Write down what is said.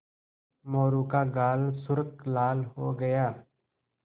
मोरू का गाल सुर्ख लाल हो गया